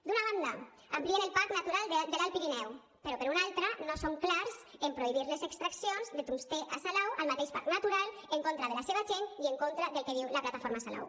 d’una banda amplien el parc natural de l’alt pirineu però per una altra no són clars en prohibir les extraccions de tungstè a salau al mateix parc natural en contra de la seva gent i en contra del que diu la plataforma salau